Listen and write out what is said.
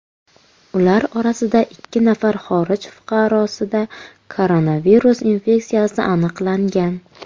Ular orasidagi ikki nafar xorij fuqarosida koronavirus infeksiyasi aniqlangan.